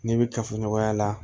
Ne bɛ kafoɲɔgɔnya la